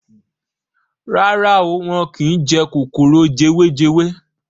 Rárá o, wọ́n kín jẹ kòkòrò jewejewe.